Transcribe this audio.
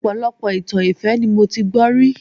Ọpọlọpọ itan ìfẹ́ ni mo ti gbọ́ rí